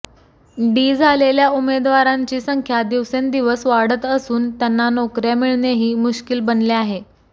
D झालेल्या उमेदवारांची संख्या दिवसेंदिवस वाढत असून त्यांना नोकऱ्या मिळणेही मुश्किल बनले आहे